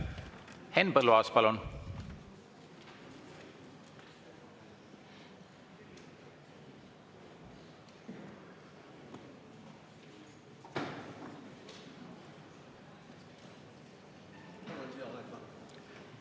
Henn Põlluaas, palun!